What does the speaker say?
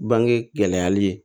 Bange gɛlɛyali ye